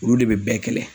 Olu de bɛ bɛɛ kɛlɛ